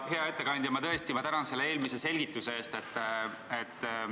Hea ettekandja, ma tõesti tänan eelmise selgituse eest!